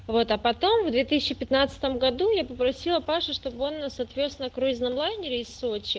вот а потом в две тысячи пятнадцатом году я попросила пашу чтобы он нас отвёз на круизном лайнере из сочи